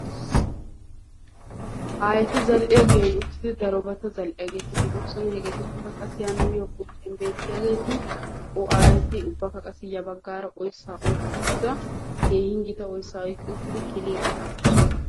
aayeti zal'iya giyan uttidi darobaa zal'iyaageeti de'oosona. hegeetuppekka qassi ha nuuyo qoncciyan beettiyaageeti aayeti ubbakka qassi ya baggaara oyissaa oyiqqi uttida keehin gita oyissaa oyiqqi uttidi ikiliiddi de'oosona.